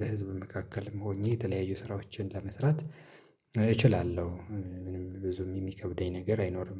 በህዝብ መካከልም ሆኜ የተለያዩ ስራዎችን ለመስራት እችላለሁ ምንም ብዙም የሚከብደኝ ነገር አይኖርም